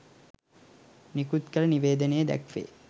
නිකුත කළ නිවේදනයේ දැක්වේ